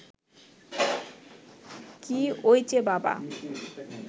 কী ওইচে বাবা